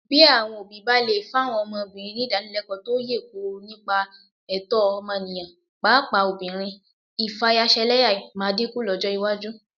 Báwọn òbí bá lè fáwọn ọmọbìnrin nídànílẹlẹ́kọ̀ọ́ tó yè kooro nípa ẹ̀tọ́ ọmọnìyàn, pàápàá ọmọbìnrin, ìfayaṣẹlẹ́yà máa dínkù lọ́jọ́ iwájú